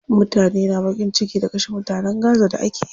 Mutane na baƙin ciki da kashe mutanen gaza da akeyi.